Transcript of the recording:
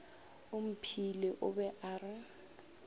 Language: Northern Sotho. omphile o be a re